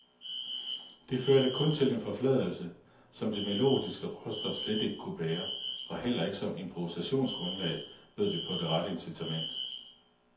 Det førte kun til en forfladigelse, som det melodiske råstof slet ikke kunne bære, og heller ikke som improvisationsgrundlag bød det på det rette incitament.